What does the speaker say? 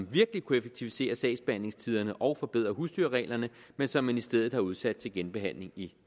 virkelig kunne effektivisere sagsbehandlingstiderne og forbedre husdyrreglerne men som ministeriet har udsat til genbehandling i